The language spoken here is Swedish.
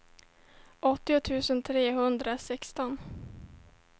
åttio tusen trehundrasexton